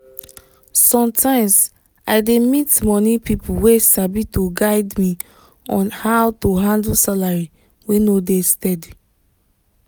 sometimes i dey meet money people wey sabi to guide me on how to handle salary wey no dey steady.